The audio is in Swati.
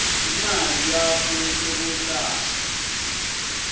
imali yakho yetekwelashwa